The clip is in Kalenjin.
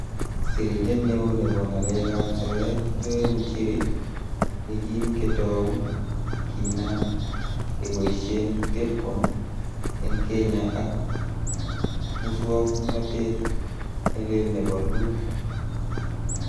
Sirindet neo nebo ngalekab soet, Joe Muchiri yekin ketou kinam keboishien Telkon en Kenya ak muswognotet ne lel nebo Loon.